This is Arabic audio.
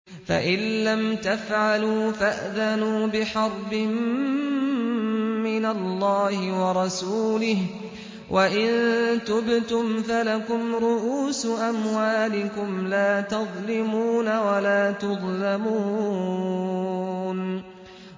فَإِن لَّمْ تَفْعَلُوا فَأْذَنُوا بِحَرْبٍ مِّنَ اللَّهِ وَرَسُولِهِ ۖ وَإِن تُبْتُمْ فَلَكُمْ رُءُوسُ أَمْوَالِكُمْ لَا تَظْلِمُونَ وَلَا تُظْلَمُونَ